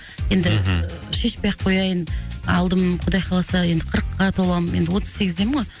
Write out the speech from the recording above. енді мхм шешпей ақ кояйын алдым құдай қаласа енді қырыққа толамын енді отыз сегіздемін ғой